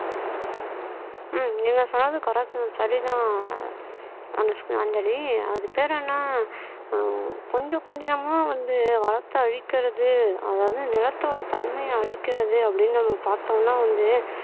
ஆஹ் நீங்க சொன்னது correct சரிதான் அனுஷ்க் அஞ்சலி அது பேர் என்ன கொஞ்சம் கொஞ்சமா வந்து வளத்தை அழிக்கிறது அதாவது நிலத்தோட தன்மையை அழிக்கிறது அப்படின்னு நம்ம பார்த்தோம்னா வந்து